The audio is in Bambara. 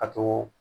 A to